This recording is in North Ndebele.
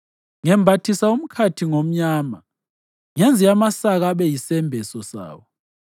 Ngembathisa umkhathi ngomnyama. Ngenze amasaka abe yisembeso sawo.”